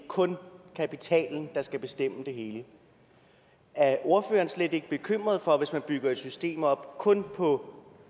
kun kapitalen der skal bestemme det hele er ordføreren slet ikke bekymret for at vi hvis man bygger et system op kun på